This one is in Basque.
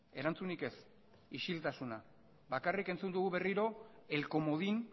erantzunik ez isiltasuna bakarrik entzun dugu berriro el comodín